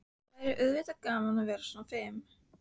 Það væri auðvitað gaman að vera svona fim.